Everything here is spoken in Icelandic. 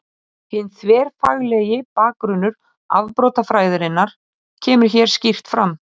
Hinn þverfaglegi bakgrunnur afbrotafræðinnar kemur hér skýrt fram.